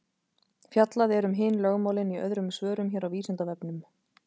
Fjallað er um hin lögmálin í öðrum svörum hér á Vísindavefnum.